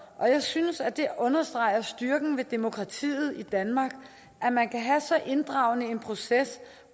og jeg synes at det understreger styrken ved demokratiet i danmark at man kan have så inddragende en proces